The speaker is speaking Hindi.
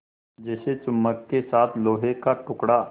जैसे चुम्बक के साथ लोहे का टुकड़ा